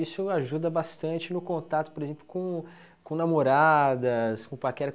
Isso ajuda bastante no contato, por exemplo, com com namoradas, com paquera.